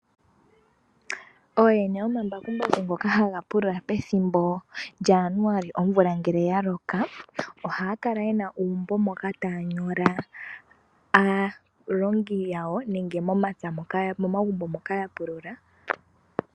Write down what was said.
Ooyene yomambakumbaku ngoka haga pulula pethimbo lyaJaanuali una omvula yaloka ohaya kala yena uumbo moka taya nyola aalongi yawo nenge omagumbo moka yapulula.